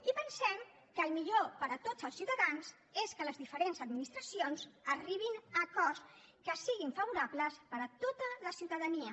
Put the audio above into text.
i pensem que el millor per a tots els ciutadans és que les diferents administracions arribin a acords que siguin favorables per a tota la ciutadania